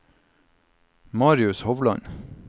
Marius Hovland